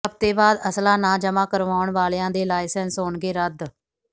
ਹਫ਼ਤੇ ਬਾਅਦ ਅਸਲਾ ਨਾ ਜਮ੍ਹਾ ਕਰਵਾਉਣ ਵਾਲਿਆਂ ਦੇ ਲਾਇਸੈਂਸ ਹੋਣਗੇ ਰੱਦ